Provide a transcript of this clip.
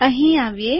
અહી આવીએ